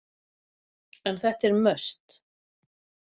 En þetta er must.